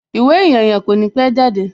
Ìwé ìyànyàn kò ní pẹ́ jáde